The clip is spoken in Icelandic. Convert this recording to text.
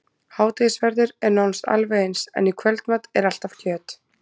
Hádegisverður er nánast alveg eins, en í kvöldmat er alltaf kjöt.